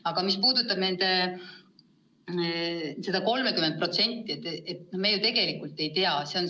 Aga mis puudutab seda 30%, siis me ju tegelikult ei tea, kuidas lood on.